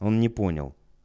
он не понял